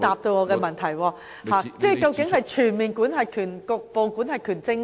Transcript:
究竟是採用全面管轄權，還是局部管轄權？